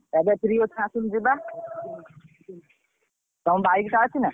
ଏବେ free ଅଛୁ ଆସୁନୁ ଯିବା ତମ ବାଇକ ଟା ଅଛି ନା?